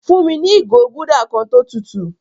Fún mi ni igo gúldà kan tó tùtù